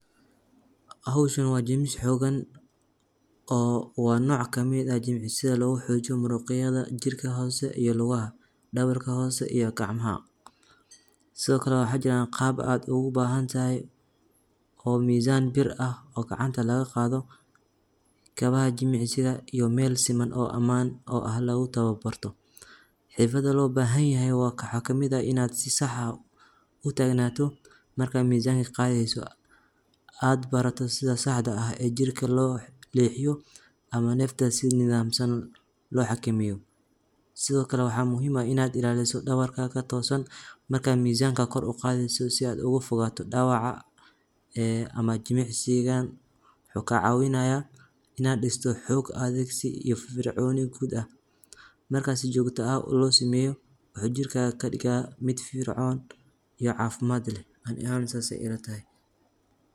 Hoshan wa jimisi xogan, oo wa noca ka mid ah jimicsika sida logu xojiyoh muruq ayada jirka hoos iyo luga ah dawarka hoos iyo gacmaha, side okle waxa jiran qab ad ogu bahantahay oo misan bir ah oo gacnta laga qadoh kawa ah jimicsika iyoh mal siman oo aman ah logu tawa barto, xirfada lo bahanyahay wa xagamida ina sii sax ah, u tagnatido marka misanka qadasoh, ad bartoh sida sax dah ah oo jirka loo lahiyo oo nafta nadamsan loo hagamiyo, sidaa okle wax muhiim ah ina ila hisoh dawarkada toosan, marka misanka gor u qadiso sii ad oga fodatoh dawaca aa ama jimac sigan wuxu ka cawinayah ina disotoh xog adigsi iyo firfir coni gud ah, markas sii jogtah ah loo samiyoh wuxu jirkada ka digaya, mid firfircon, iyoh cafimad lah ani ahan saas aya ila tahay.